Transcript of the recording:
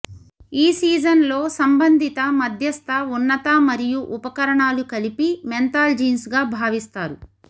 ఈ సీజన్లో సంబంధిత మధ్యస్థ ఉన్నత మరియు ఉపకరణాలు కలిపి మెంథాల్ జీన్స్ గా భావిస్తారు